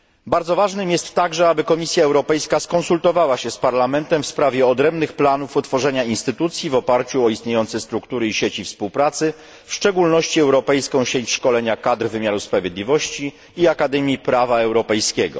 Bardzo ważnym jest także, aby Komisja Europejska skonsultowała się z Parlamentem w sprawie odrębnych planów utworzenia instytucji w oparciu o istniejące struktury i sieci współpracy, w szczególności Europejską Sieć Szkolenia Kadr Wymiaru Sprawiedliwości i Akademię Prawa Europejskiego.